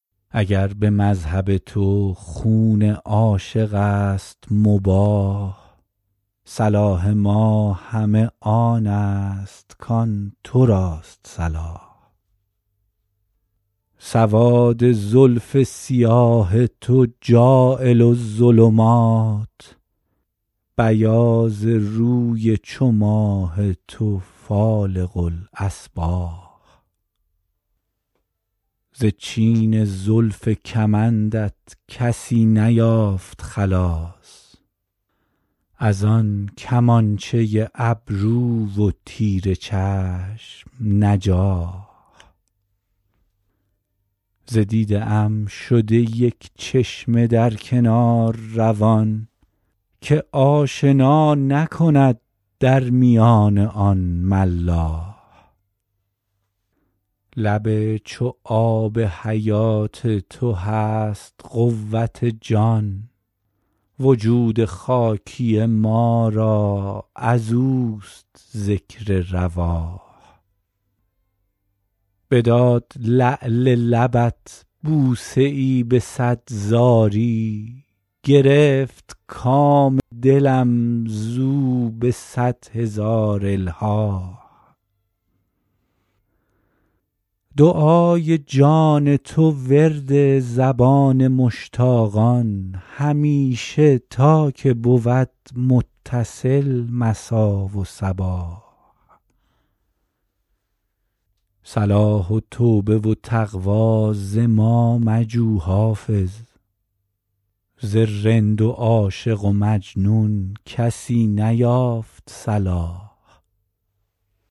اگر به مذهب تو خون عاشق است مباح صلاح ما همه آن است کآن تو راست صلاح سواد زلف سیاه تو جاعل الظلمات بیاض روی چو ماه تو فالق الأصباح ز چین زلف کمندت کسی نیافت خلاص از آن کمانچه ابرو و تیر چشم نجاح ز دیده ام شده یک چشمه در کنار روان که آشنا نکند در میان آن ملاح لب چو آب حیات تو هست قوت جان وجود خاکی ما را از اوست ذکر رواح بداد لعل لبت بوسه ای به صد زاری گرفت کام دلم زو به صد هزار الحاح دعای جان تو ورد زبان مشتاقان همیشه تا که بود متصل مسا و صباح صلاح و توبه و تقوی ز ما مجو حافظ ز رند و عاشق و مجنون کسی نیافت صلاح